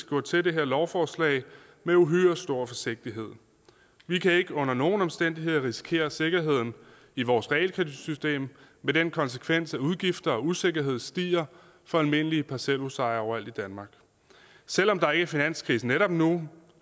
gå til det her lovforslag med uhyre stor forsigtighed vi kan ikke under nogen omstændigheder risikere sikkerheden i vores realkreditsystem med den konsekvens at udgifter og usikkerheden stiger for almindelige parcelhusejere overalt i danmark selv om der ikke er finanskrise netop nu